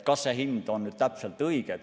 Kas see hind on täpselt õige?